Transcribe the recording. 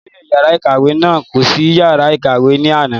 olóyè yàrá ìkàwé náà kò sí yàrá ìkàwé ní àná